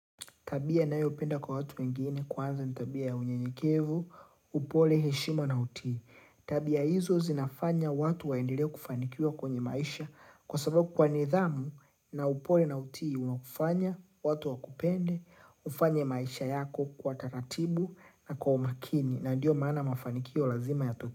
Tabia ninayo penda kwa watu wengine kwanza ni tabia ya unyenyekevu, upole heshima na utii. Tabia hizo zinafanya watu waendelee kufanikiwa kwenye maisha kwa sababu kwa nidhamu na upole na utii unaokufanya, watu wa kupende, ufanye maisha yako kwa taratibu na kwa umakini na ndiyo maana mafanikio lazima yatoke.